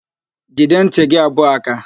Jide ntị gị abụọ áká!